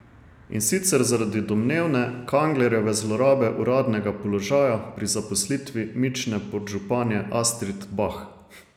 In sicer zaradi domnevne Kanglerjeve zlorabe uradnega položaja pri zaposlitvi mične podžupanje Astrid Bah.